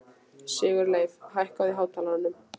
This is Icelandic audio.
Sigurleif, hækkaðu í hátalaranum.